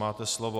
Máte slovo.